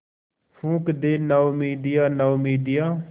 फूँक दे नाउमीदियाँ नाउमीदियाँ